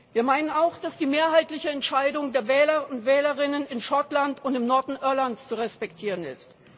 Wir meinen auch, dass die mehrheitliche Entscheidung der Wähler und Wählerinnen in Schottland und im Norden Irlands zu respektieren ist.